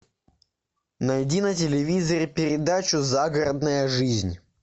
найди на телевизоре передачу загородная жизнь